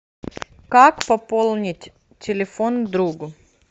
как пополнить телефон другу